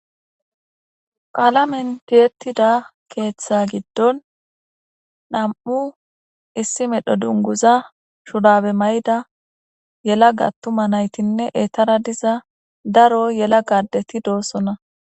qaalamentiyettida keeththa giddon nam7u issi medho dunguza shurabe may7da yela gattuma naytinne eetara diza daro yela gadeti doossona